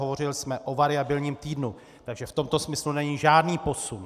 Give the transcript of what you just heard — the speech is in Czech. Hovořili jsme o variabilním týdnu, takže v tomto smyslu není žádný posun.